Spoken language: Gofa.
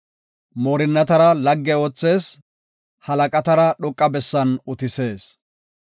Moorinnatara lagge oothees; halaqatara dhoqa bessan utisees.